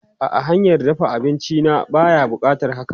A'a, hanyar dafa abinci na baya buƙatar haka.